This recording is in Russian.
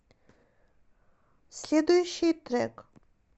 следующий трек